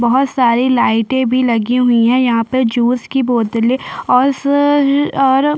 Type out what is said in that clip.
बहोत सारी लाइटे भी लगी हुई है यहाँ पे जूस की बोतले और स अ ररर --